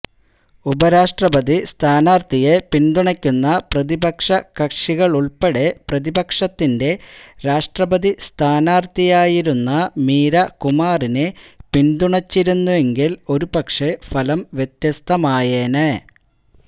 ഉപരാഷ്ട്രപതി സ്ഥാനാര്ഥിയെ പിന്തുണയ്ക്കുന്ന പ്രതിപക്ഷകക്ഷികളുള്പ്പെടെ പ്രതിപക്ഷത്തിന്റെ രാഷ്ട്രപതി സ്ഥാനാര്ഥിയായിരുന്ന മീരാ കുമാറിനെ പിന്തുണച്ചിരുന്നെങ്കില് ഒരുപക്ഷേ ഫലം വ്യത്യസ്തമായേനെ